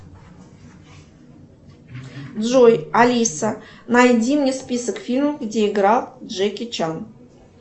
джой алиса найди мне список фильмов где играл джеки чан